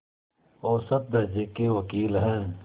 औसत दर्ज़े के वक़ील हैं